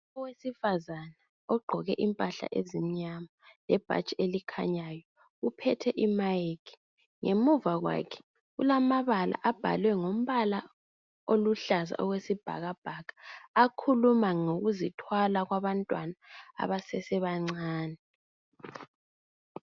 Owesifazana ogqoke impahla ezimnyama lebhatshi elikhanyayo uphethe imayikhi ngemuva kwakhe kulamabala abhalwe ngombala oluhlaza okwesibhakabhaka akhuluma ngokuzithwala kwabantwana abasasebancane.